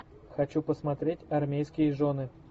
хочу посмотреть армейские жены